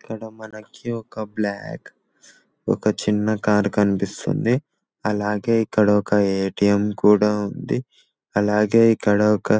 ఇక్కడ మనకి ఒక బ్లాక్ ఒక చిన్న కారు కనిపిస్తుంది అలాగే ఇక్కడ ఒక ఎ.టీ.ఎం కూడా ఉంది అలాగే ఇక్కడ ఒక